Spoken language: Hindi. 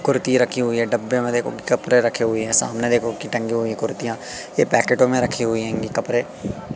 कुर्ती रखी हुई है डब्बे में देखो कपड़े रखे हुए है सामने देखो कि टंगी हुई कुर्तियां ये पैकेटों में रखी हुई है कपड़े--